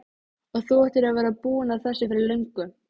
Og þú áttir að vera búinn að þessu fyrir löngu!